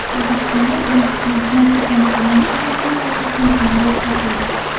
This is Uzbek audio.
O‘zbekistonda Birinchi Prezident Islom Karimovga xizmat ko‘rsatgan samolyot sotildi.